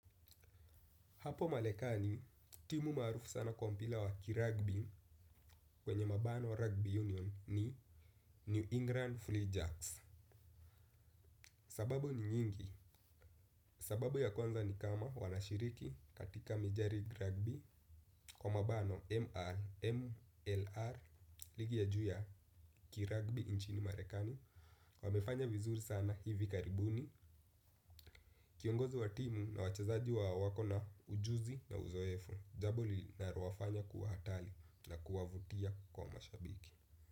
Hapo marekani, timu maarufu sana kwa mpira wa kiragbi kwenye mabano rugby union ni New England Free Jacks. Sababu ni nyingi. Sababu ya kwanza ni kama wanashiriki katika mijari kiragbi kwa mabano MLR ligi ya juu ya kiragbi nchini malekani. Wamefanya vizuri sana hivi karibuni. Kiongozi wa timu na wachezaji wako na ujuzi na uzoefu, jambo linalowafanya kuwa hatari na kuwavutia kwa mashabiki.